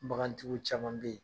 Bagantigiw caman be yen